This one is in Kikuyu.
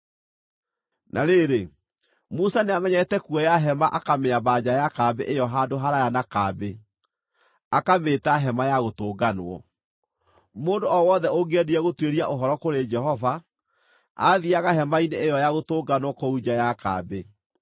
Na rĩrĩ, Musa nĩamenyerete kuoya hema akamĩamba nja ya kambĩ ĩyo handũ haraaya na kambĩ, akamĩĩta “Hema-ya-Gũtũnganwo.” Mũndũ o wothe ũngĩendire gũtuĩria ũhoro kũrĩ Jehova, aathiiaga hema-inĩ ĩyo ya gũtũnganwo kũu nja ya kambĩ.